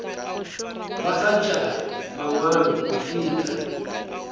ba kgantšha mangwalo go feta